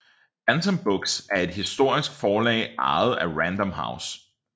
Bantam Books er et amerikansk forlag ejet af Random House